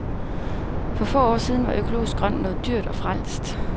For få år siden var økologisk grønt noget dyrt og frelst.